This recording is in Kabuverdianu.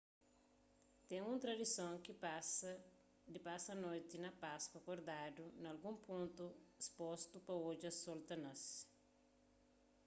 ten un tradison di pasa noti di páskua kordadu na algun pontu spostu pa odja sol ta nase